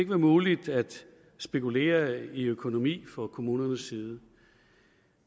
være muligt at spekulere i økonomi fra kommunernes side